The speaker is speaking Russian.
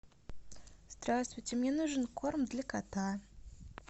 здравствуйте мне нужен корм для кота